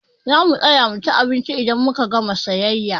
Zamu tsaya muci abinci idan muka gama siyayya.